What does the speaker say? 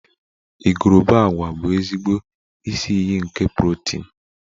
Igurube agwa bụ ezigbo isi iyi nke protin